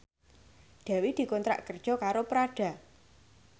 Dewi dikontrak kerja karo Prada